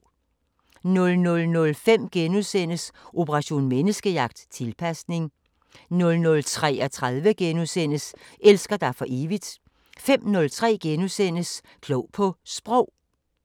00:05: Operation Menneskejagt: Tilpasning * 00:33: Elsker dig for evigt * 05:03: Klog på Sprog *